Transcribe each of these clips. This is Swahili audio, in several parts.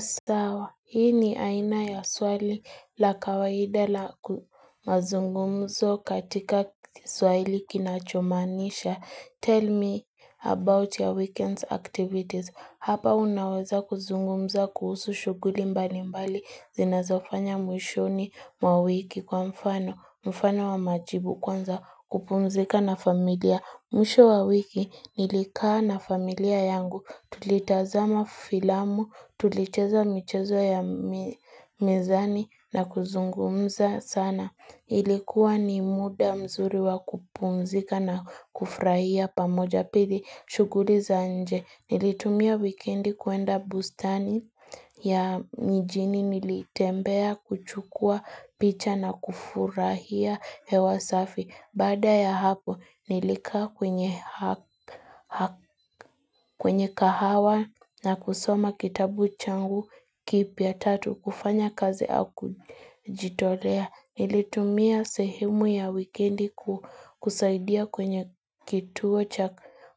Sawa, hii ni aina ya swali la kawaida la mazungumzo katika kiswahili kinachomanisha, tell me about your weekend's activities. Hapa unaweza kuzungumza kuhusu shuguli mbali mbali, zinazofanya mwishoni mwa wiki kwa mfano, mfano wa majibu kwanza kupumzika na familia. Mwisho wa wiki nilikaa na familia yangu tulitazama filamu, tulicheza michezo ya mezani na kuzungumza sana. Ilikuwa ni muda mzuri wa kupumzika na kufurahia pamoja pidi shuguri za nje. Nilitumia wikendi kuenda bustani ya mijini nilitembea kuchukua picha na kufurahia hewa safi. Baada ya hapo nilikaa kwenye kahawa na kusoma kitabu changu kipya tatu kufanya kazi au kujitolea. Nilitumia sehemu ya wikendi kusaidia kwenye kituo cha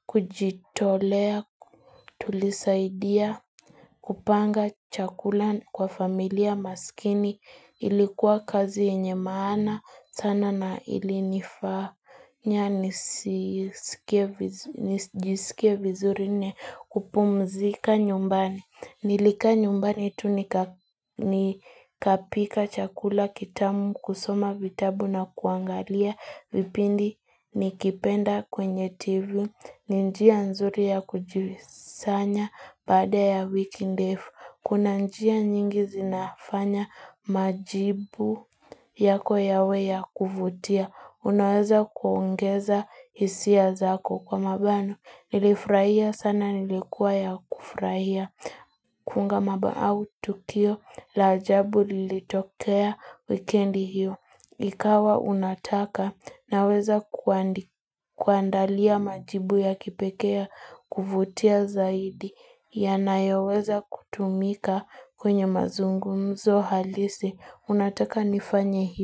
kujitolea, tulisaidia, kupanga chakula kwa familia maskini. Ilikuwa kazi yenye maana, sana na ilinifanya nisijisikie vizuri nne kupumzika nyumbani. Nilikaa nyumbani tu nikapika chakula kitamu kusoma vitabu na kuangalia vipindi nikipenda kwenye tv. Ni njia nzuri ya kujivisanya baada ya wiki ndefu. Kuna njia nyingi zinafanya majibu yako yawe ya kuvutia. Unaweza kuongeza isia zako kwa mabano. Nilifuraia sana nilikuwa ya kufraia. Kunga maba au tukio la ajabu lilitokea wikendi hiyo ikawa unataka naweza kuandalia majibu ya kipekee kuvutia zaidi yanayoweza kutumika kwenye mazungumzo halisi unataka nifanye hivi.